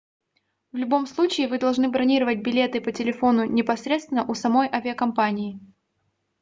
в любом случае вы должны бронировать билеты по телефону непосредственно у самой авиакомпании